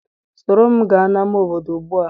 Soro m gaa n' ama obodo ugbu a.